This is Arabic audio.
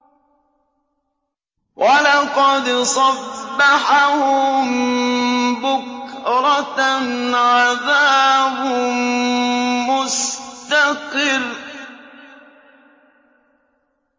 وَلَقَدْ صَبَّحَهُم بُكْرَةً عَذَابٌ مُّسْتَقِرٌّ